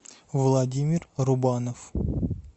владимир рубанов